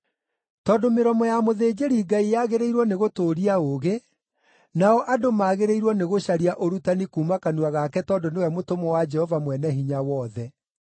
“Tondũ mĩromo ya mũthĩnjĩri-Ngai yagĩrĩirwo nĩgũtũũria ũũgĩ, nao andũ magĩrĩirwo nĩgũcaria ũrutani kuuma kanua gake tondũ nĩwe mũtũmwo wa Jehova Mwene-Hinya-Wothe.